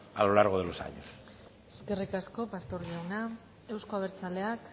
a lo largo de los años eskerrik asko pastor jauna euzko abertzaleak